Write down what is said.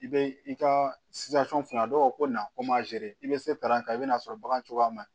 I bɛ i ka a dɔw ko na ko i bɛ se ta i bɛ na'a sɔrɔ bagan cogoya man ɲi